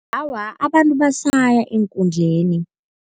Awa, abantu basaya eenkundleni.